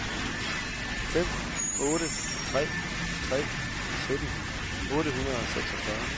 fem otte tre tre sytten otte hundrede og seksogfyrre